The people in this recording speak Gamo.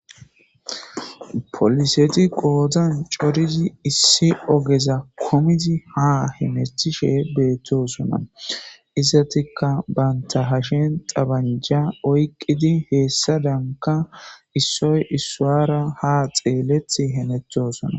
Polisset bottan coridi issi ogeza kumidi ha hamutishshe bettossona izetikka banta hashshen tabanja oykidi hesadankka issoy isuwara ha xelishshe hemotosona